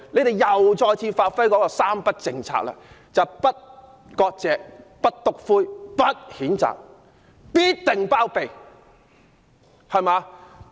答案是再次發揮"三不政策"的精神，"不割席、不'篤灰'、不譴責"，包庇到底。